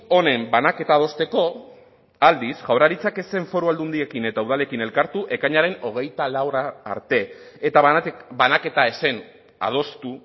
honen banaketa adosteko aldiz jaurlaritzak ez zen foru aldundiekin eta udalekin elkartu ekainaren hogeita laura arte eta banaketa ez zen adostu